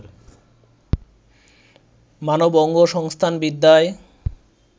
মানব অঙ্গসংস্থানবিদ্যায়